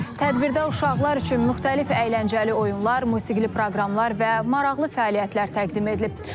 Tədbirdə uşaqlar üçün müxtəlif əyləncəli oyunlar, musiqili proqramlar və maraqlı fəaliyyətlər təqdim edilib.